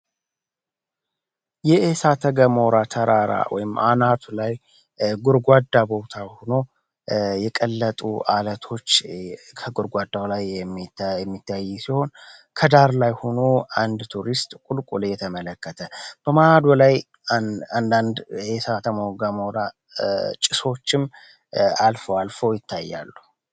የእሳተገሞራ ተራራ ወይም አናቱ ላይ ጉርጓዳ ቦታ ሆኖ የቀለጡ አለቶች ከጉርጓዳው ላይ የሚታይ ሲሆን ከዳር ላይ ሆኑ አንድ ቱሪስት ቁልቁል እየተመለከተ በአናቱ ላይ አንዳንድ እሳተገሞራ ጭሶችም አልፎ አልፎ ይታያሉ